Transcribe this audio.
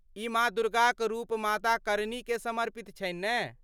ई माँ दुर्गाक रूप माता करनीकेँ समर्पित छनि ने?